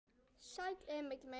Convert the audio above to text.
Sæll, Emil minn.